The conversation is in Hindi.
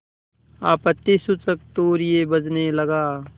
आपत्तिसूचक तूर्य बजने लगा